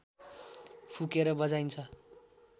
फुकेर बजाइन्छ